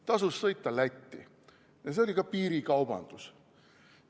Tasus sõita Lätti ja see oli ka piirikaubandus.